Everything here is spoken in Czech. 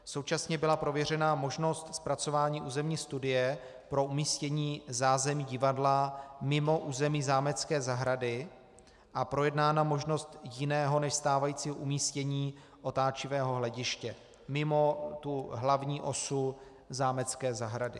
Současně byla prověřena možnost zpracování územní studie pro umístění zázemí divadla mimo území zámecké zahrady a projednána možnost jiného než stávajícího umístění otáčivého hlediště mimo tu hlavní osu zámecké zahrady.